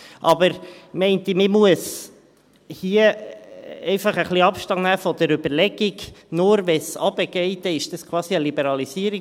Aber ich bin der Meinung, man müsse hier ein wenig Abstand von der Überlegung nehmen, nur wenn es nach unten gehe, sei es quasi eine Liberalisierung.